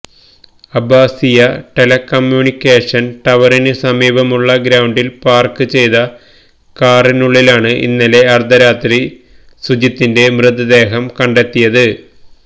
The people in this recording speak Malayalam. അബ്ബാസിയ ടെലകമ്മ്യൂണിക്കേഷന് ടവറിനു സമീപമുള്ള ഗ്രൌണ്ടില് പാര്ക്ക് ചെയ്ത കാറിനുള്ളിലാണ് ഇന്നലെ അര്ദ്ധരാത്രി സുജിത്തിന്റെ മൃതദേഹം കണ്ടെത്തിയത്